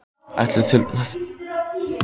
Ætlast til þess að hann hræðist.